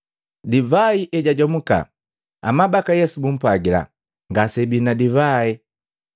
Divai ejajomuka, amabaka Yesu bumpwagila, “Ngaseabi na divai!”